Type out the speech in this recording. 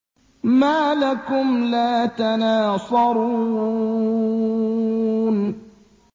مَا لَكُمْ لَا تَنَاصَرُونَ